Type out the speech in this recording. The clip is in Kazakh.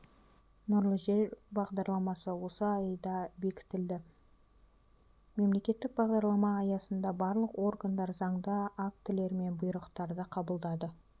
нұрлы жер бағдарламасы осы айда бектілді мемлекеттік бағдарлама аясында барлық органдар заңды актілері мен бұйрықтарды қабылдады